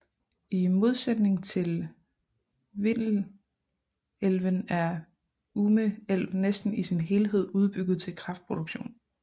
I modsætning til Vindelälven er Ume älv næsten i sin helhed udbygget til kraftproduktion